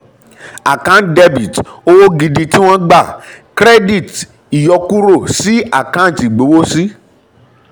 àkáǹtì dr owó gidi tí wọ́n gbà cr ìyọkúrò sí àkáǹtì ìgbowósí.